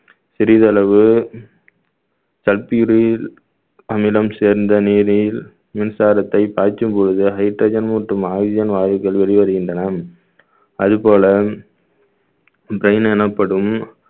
சிறிதளவு sulfuryl அமிலம் சேர்ந்த நீரில் மின்சாரத்தை பாய்ச்சும் பொழுது hydrogen மற்றும் oxygen வாயுக்கள் வெளிவருகின்றன அது போல எனப்படும்